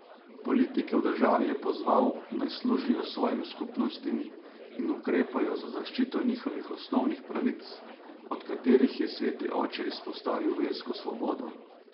Politike v državi je pozval, naj služijo svojim skupnostim in ukrepajo za zaščito njihovih osnovnih pravic, od katerih je sveti oče izpostavil versko svobodo.